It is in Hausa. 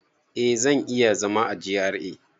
Eh, zan iya zama a GRA